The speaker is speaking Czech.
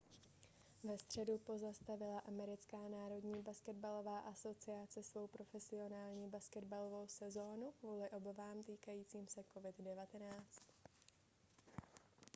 ve středu pozastavila americká národní basketbalová asociace svou profesionální basketbalovou sezonu kvůli obávám týkajícím se covid-19